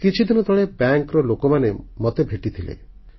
କିଛିଦିନ ତଳେ ବ୍ୟାଙ୍କର ଲୋକମାନେ ମୋତେ ଭେଟିଥିଲେ